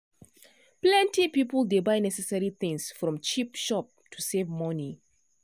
plenty people dey buy necessary things from cheap shop to save money.